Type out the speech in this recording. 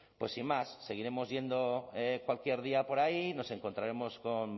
pues sin más seguiremos yendo cualquier día por ahí nos encontraremos con